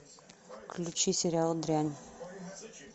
включи сериал дрянь